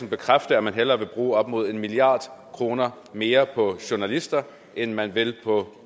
bekræfte at man hellere vil bruge op mod en milliard kroner mere på journalister end man vil på